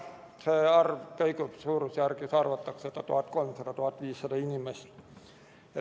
See arv suurusjärgus kõigub, arvatakse et on 1300–1500 inimest.